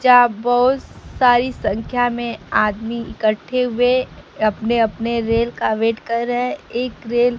बहुत सारी संख्या में आदमी इकट्ठे हुए अपने अपने रेल का वेट कर रहे हैं एक रेल --